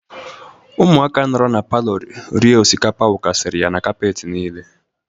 Ụmụaka nọrọ na palọ rie osikapa wụkasịrị ya kapeti niile.